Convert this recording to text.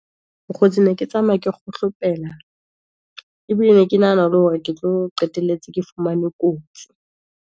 Mokgotsi ne ke tsamaya ke kgohlopela, ebile ne ke nahana le hore, ke tlo qetelletse ke fumane kotsi.